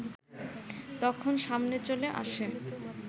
তখন সামনে চলে আসে